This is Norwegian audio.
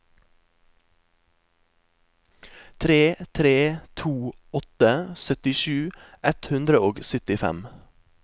tre tre to åtte syttisju ett hundre og syttifem